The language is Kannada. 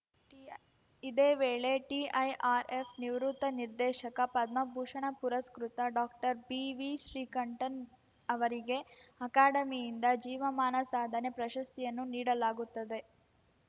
ಇದೇ ವೇಳೆ ಟಿಐಆರ್‌ಎಫ್‌ ನಿವೃತ್ತ ನಿರ್ದೇಶಕ ಪದ್ಮಭೂಷಣ ಪುರಸ್ಕೃತ ಡಾಕ್ಟರ್ಬಿವಿಶ್ರೀಕಂಠನ್‌ ಅವರಿಗೆ ಅಕಾಡೆಮಿಯಿಂದ ಜೀವಮಾನ ಸಾಧನೆ ಪ್ರಶಸ್ತಿಯನ್ನು ನೀಡಲಾಗುತ್ತದೆ